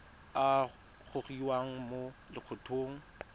a a gogiwang mo lokgethong